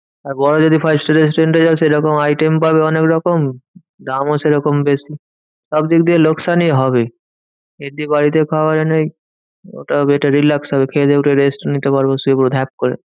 আর বড়ো যদি first restaurant এ যাবে সেরকম item পাবে অনেকরকম। দামও সেরকম বেশি। সবদিকদিয়ে লোকসানই হবে। এর থেকে বাড়িতে খাবার এনে ওটাও একটা relax হবে খেয়েদেয়ে উঠে rest নিতে পারবো শুয়ে পড়বো ধ্যাক করে।